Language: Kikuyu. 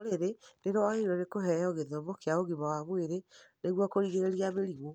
Rũrĩrĩ nĩrwagĩrĩirwo nĩ kũheo gĩthomo kĩa ũgima wa mwĩrĩ nĩguo kũrigĩrĩria mĩrimũ